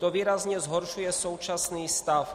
To výrazně zhoršuje současný stav.